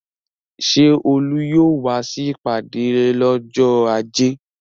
Ṣé Olú yóò wá sí ìpàdé lọ́jọ́ ajé?